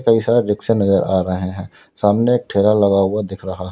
कई सारे रिक्शे नजर आ रहे हैं सामने एक ठेला लगा हुआ दिख रहा --